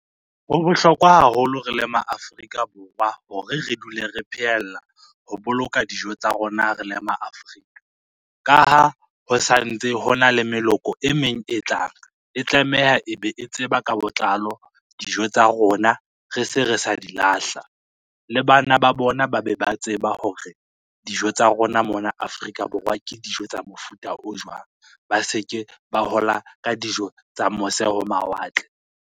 Ho bohlokwa haholo re le ma Afrika Borwa hore re dule re phehela ho boloka dijo tsa rona, re le ma Afrika. Ka ha ho santse ho na le meloko e meng e tlang, e tlameha e be e tseba ka botlalo dijo tsa rona re se re sa di lahla. Le bana ba bona ba be ba tseba hore dijo tsa rona mona Afrika Borwa ke dijo tsa mofuta o jwang, ba se ke ba hola ka dijo tsa mose ho mawatle.